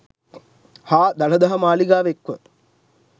හා දළදා මාලිගාව එක්ව